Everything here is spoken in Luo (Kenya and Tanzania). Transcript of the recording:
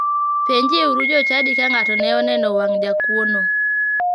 Penjie uru jochadi ka ng'ato ne oneno wang' jakuono.